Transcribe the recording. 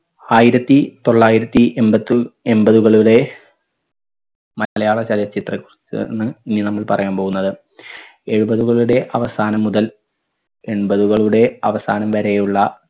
ആയിരത്തി തൊള്ളായിരത്തി എമ്പതി എമ്പതുകളുടെ മലയാളം ചലച്ചിത്ര ആണ് ഇനി നമ്മൾ പറയാൻ പോകുന്നത്. എഴുപതുകളുടെ അവസാനം മുതൽ എൺപതുകളുടെ അവസാനം വരെയുള്ള